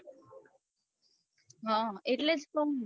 હ એટલે જ કવું હું